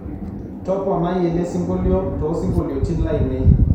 toponai elesingolio toosingolioitin lainei